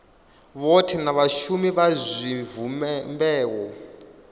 vhothe na vhashumi vha zwivhumbeo